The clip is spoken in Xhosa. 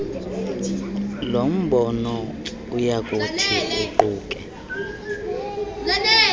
lombono oyakuthi uquke